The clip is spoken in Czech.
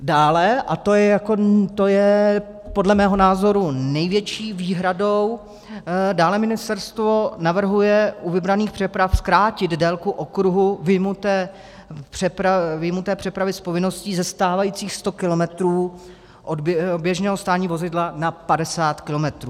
Dále - a to je podle mého názoru největší výhradou - dále ministerstvo navrhuje u vybraných přeprav zkrátit délku okruhu vyjmuté přepravy z povinností ze stávajících 100 kilometrů od běžného stání vozidla na 50 kilometrů.